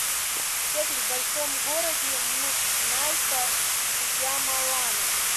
секс в большом городе м найта шьямалана